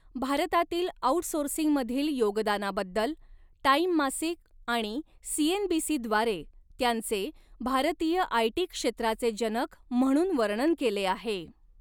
भारतातील आउटसोर्सिंगमधील योगदानाबद्दल, टाइम मासिक आणि सीएनबीसीद्वारे, त्यांचे 'भारतीय आयटी क्षेत्राचे जनक' म्हणून वर्णन केले आहे.